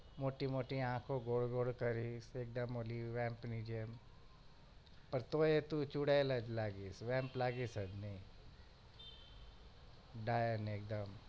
મોટી મોટી આંખો ગોળ ગોળ કરીશ એકદમ ઓલી વેમ્પ ની જેમ પણ તોય તું ચુડેલ જ લાગીશ વેમ્પ લાગીશ જ નહિ ડાયન એકદમ